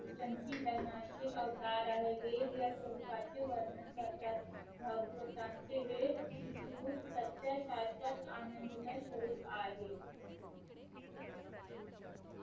संचिदणाचे अवतार आहे वेद ह्या स्वरूपाचे वर्णन करतात भागवतांचे वेद शिकवू सत्य शाश्वत आनंदमय